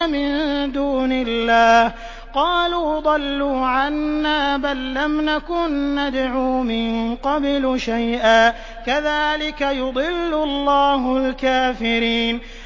مِن دُونِ اللَّهِ ۖ قَالُوا ضَلُّوا عَنَّا بَل لَّمْ نَكُن نَّدْعُو مِن قَبْلُ شَيْئًا ۚ كَذَٰلِكَ يُضِلُّ اللَّهُ الْكَافِرِينَ